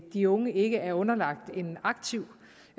de unge ikke er underlagt en aktiv